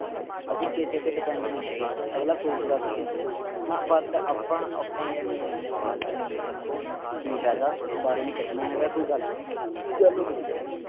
ਅਸੀਂ ਕਿਸੇ ਤੇ depend ਨਹੀਂ ਹੈਗੇ ਅਗਲਾ ਸੋਚਦਾ ਸੀ ਗਾ ਹਣਾ but ਆਪਾਂ ਆਪਾਂ ਕਹਿਣੇ ਹੈਂ ਨਹੀਂ ਆਪਣੇ ਬੱਚੇ ਨੂੰ ਅੰਦਰ ਰੱਖੋ ਕਿ ਫਾਇਦਾ ਬਾਹਰ ਹੀ ਨਹੀਂ ਕੱਢਣਾ ਹੈਗਾ ਕੋਈ ਗੱਲ ਗੱਲ ਹੋਜੂਗੀ